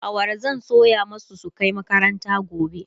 awara zan soya masu su Kai makaranta gobe